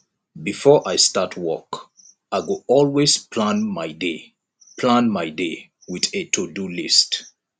before i start work i go always plan my day plan my day with a todo list